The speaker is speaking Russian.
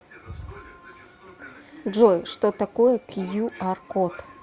джой что такое кью ар код